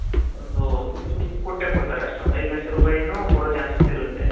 ಒಂದು ಇಂಚು ಮಿಂಚು ಕೊಟ್ಟೆ ಕೊಡ್ತಾರೆ ಅಷ್ಟೆ ಒಂದ್ ಐದ್ ಲಕ್ಷ ರೂಪಾಯಿನು ಕೊಡೊ chances ಇರುತ್ತೆ.